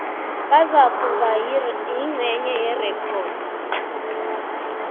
bazakuba yingcenye yerekhodi